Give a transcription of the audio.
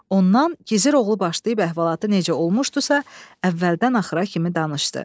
Ondan gizir oğlu başlayıb əhvalatı necə olmuşdusa, əvvəldən axıra kimi danışdı.